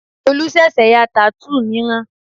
Olú ṣẹ̀ṣẹ̀ ya tattoo mìíràn